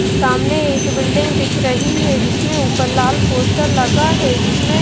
सामने एक बिल्डिंग दिख रही है जिसमें ऊपर लाल पोस्टर लगा है जिसमें --